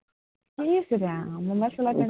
ইচ Ram, mobile চলাব